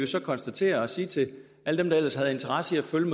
så konstatere og sige til alle dem der ellers havde interesse i at følge